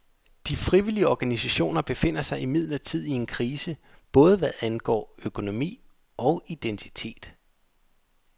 De frivillige organisationer befinder sig imidlertid i en krise både hvad angår økonomi og identitet.